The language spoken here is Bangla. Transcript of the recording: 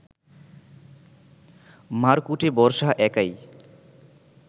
মারকুটে বর্ষা একাই